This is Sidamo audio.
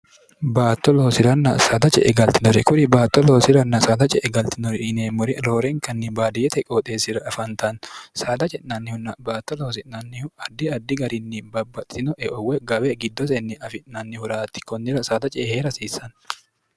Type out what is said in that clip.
baatto loosi'ranna saada ce e galtinore kuri baatto loosiranna saada ce e galtinori iineemmori roorenkanni baadiyete qooxeessira afantanni saada ce'nannihunna baatto loosi'nannihu addi addi garinni babbaxxinoeowwe gabe giddosenni afi'nannihuraatti konnira saada ce ehee'rhasiissanni